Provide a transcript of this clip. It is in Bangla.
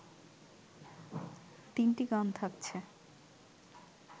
তিনটি গান থাকছে